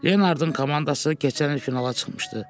Leonardın komandası keçən il finala çıxmışdı.